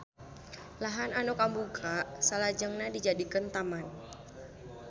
Lahan anu kabuka salajengna dijadikeun taman